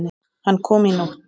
Hann kom í nótt.